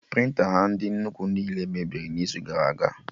Prịnta ha ndị nnukwu niile mebiri n'izu gara aga